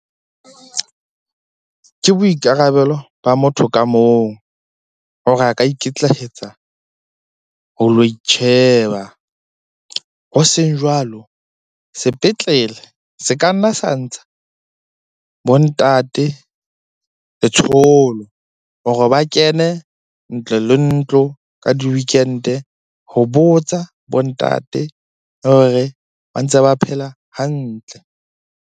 Ke boikarabelo ba motho ka mong hore a ka ikitlaetsa ho lo itjheba. Ho seng jwalo, sepetlele se ka nna sa ntsha bo ntate letsholo hore ba kene ntlo le ntlo ka di-weekend-e ho botsa bo ntate le hore ba ntse ba phela hantle.